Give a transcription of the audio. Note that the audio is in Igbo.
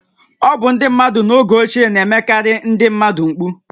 Ọ bụ ndị mmadụ n’oge ochie na-emekarị ndị mmadụ mkpu